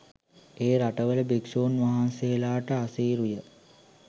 ඒ රටවල භික්ෂූන් වහන්සේලාට අසීරු ය.